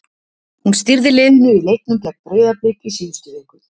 Hún stýrði liðinu í leiknum gegn Breiðablik í síðustu viku.